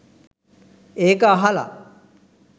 ඒක අහල